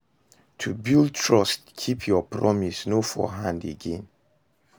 To bulid trust, Keep your promise, no fall hand again